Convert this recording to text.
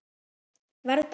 Verð pabbi.